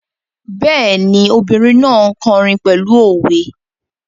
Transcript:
Bẹ́ẹ̀ni, obìrin náà n kọrin pẹ̀lú òwe